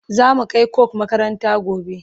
zamu Kai coke makaranta gobe